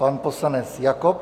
Pan poslanec Jakob.